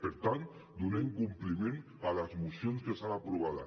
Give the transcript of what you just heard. per tant donem compliment a les mocions que estan aprovades